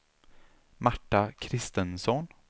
Marta Christensson